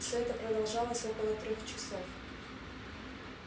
все это продолжалось около трёх часов